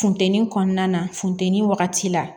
Funteni kɔnɔna funteni wagati la